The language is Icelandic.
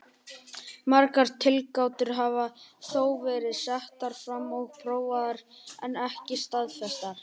Margar tilgátur hafa þó verið settar fram og prófaðar en ekki staðfestar.